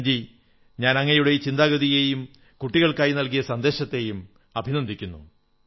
കിരൺ ജീ ഞാൻ താങ്കളുടെ ഈ ചിന്താഗതിയെയും കുട്ടികൾക്കായി നല്കിയ സന്ദേശത്തെയും അഭിനന്ദിക്കുന്നു